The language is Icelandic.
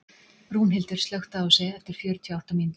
Rúnhildur, slökktu á þessu eftir fjörutíu og átta mínútur.